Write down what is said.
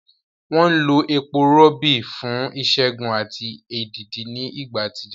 Wọ́n lo epo rọ̀bì fún ìṣègùn àti èdìdì ní ìgbà àtijọ́.